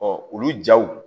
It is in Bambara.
olu jaw